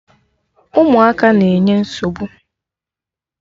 Ụmụaka na-enye nsogbu!